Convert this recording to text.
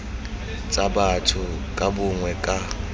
tsa batho ka bongwe ka